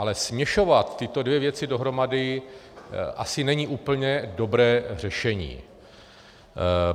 Ale směřovat tyto dvě věci dohromady asi není úplně dobré řešení.